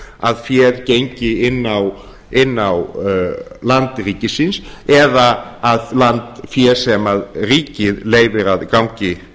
að féð gengi inn á land ríkisins eða land sem ríkið leyfir að gangi